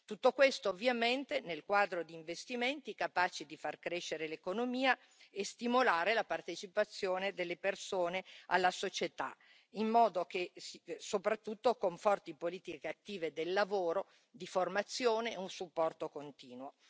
Tutto questo, ovviamente, nel quadro di investimenti capaci di far crescere l'economia e stimolare la partecipazione delle persone alla società, soprattutto con forti politiche attive del lavoro, di formazione e un supporto continuo.